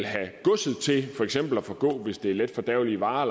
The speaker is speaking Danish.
have godset til for eksempel at forgå hvis det er letfordærvelige varer